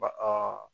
Ba